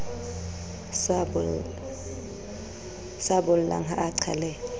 sa bollang ha a qhaleha